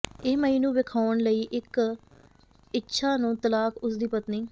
ਇਹ ਮਈ ਨੂੰ ਵੇਖਾਉਣ ਲਈ ਇੱਕ ਇੱਛਾ ਨੂੰ ਤਲਾਕ ਉਸ ਦੀ ਪਤਨੀ